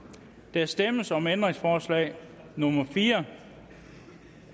der stemmes om ændringsforslag nummer fire